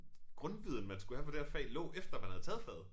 Grundviden man skulle have for det her fag lå efter man havde taget faget